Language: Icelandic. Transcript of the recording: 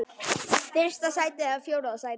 Fyrsta sæti eða fjórða sæti?